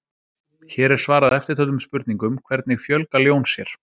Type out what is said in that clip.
Hér er svarað eftirtöldum spurningum: Hvernig fjölga ljón sér?